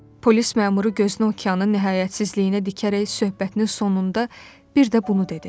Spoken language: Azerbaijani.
Polis məmuru gözünü okeanın nihayətsizliyinə dikərək söhbətinin sonunda bir də bunu dedi.